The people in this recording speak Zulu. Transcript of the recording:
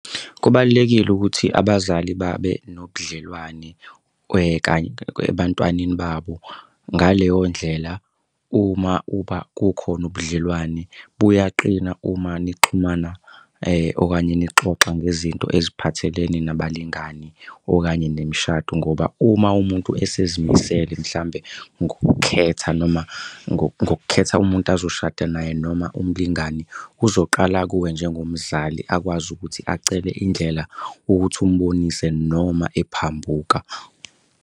Kubalulekile ukuthi abazali babe nobudlelwane kanye ebantwaneni babo ngaleyo ndlela uma uba kukhona ubudlelwane, buyaqina uma nixhumana okanye nixoxa ngezinto eziphathelene nabalingani okanye nemishado ngoba uma umuntu esezimisele mhlawumbe ngokukhetha noma ngokukhetha umuntu azoshada naye noma umlingani, uzoqala kuwe njengomzali akwazi ukuthi acele indlela ukuthi umbonise noma ephambuka.